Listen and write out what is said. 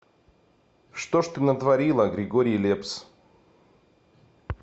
что ж ты натворила григорий лепс